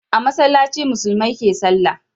A masallaci musulmai ke salla